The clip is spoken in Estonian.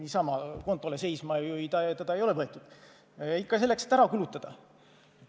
Niisama kontole seisma seda ei ole võetud, ikka selleks, et ära kulutada.